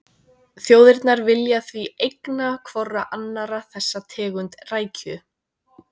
Þjóðirnar vilja því eigna hvorri annarri þessa tegund rækju.